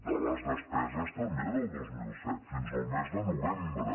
de les despeses també del dos mil set fins al mes de novembre